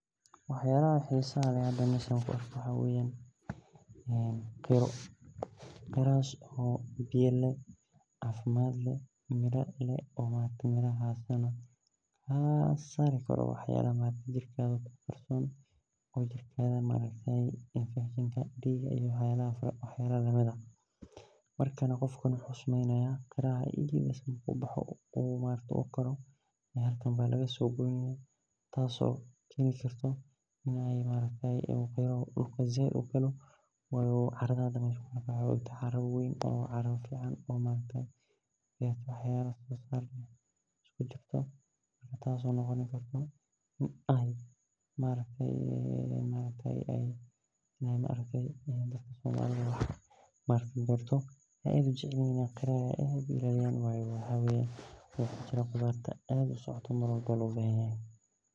Waxyalaha xisaha leh an meeshan kuarko waxa weyan galas oo biyo leeh oo cafimad leeh oo maaragte kasari karo waxyalaha jirkaga kuqarson oo maaragte sida infekshenka diga iyo waxyalaha marka qofka wuxu sameynaya qaraha marku kuboxo halkan aya lagasogoyni oo dhulka said ugalo oo carada hda uu kabexe wa caro waween oo maaragte waxyabahas taso noqoni karto in ey maaragte dadka aad ujeclyihin in ey qaraha aad ogamarmi wayan oo qudarta kujirta.